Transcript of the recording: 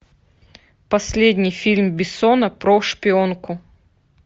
последний фильм бессона про шпионку